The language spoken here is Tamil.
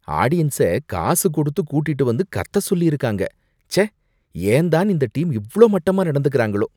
ஆடியன்ஸ காசு கொடுத்து கூட்டிட்டு வந்து கத்த சொல்லிருக்காங்க, ச்சே ஏன் தான் இந்த டீம் இவ்ளோ மட்டமா நடந்துக்குறாங்களோ!